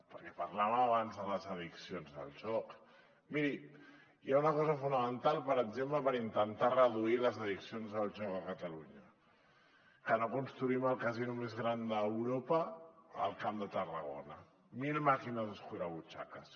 perquè parlàvem abans de les addiccions al joc miri hi ha una cosa fonamental per exemple per intentar reduir les addiccions al joc a catalunya que ara construïm el casino més gran d’europa al camp de tarragona mil màquines escurabutxaques